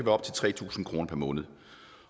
op til tre tusind kroner per måned